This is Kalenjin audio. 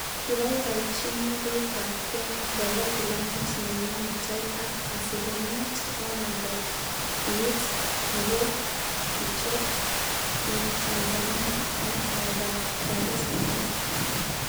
Kibaibaichinii piik ap kenya koroo filamut nenyoo netai ako asilimiet 100 kiit nekogichob ing' tanzania, eng' oldoap Dar es Salaam.